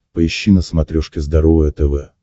поищи на смотрешке здоровое тв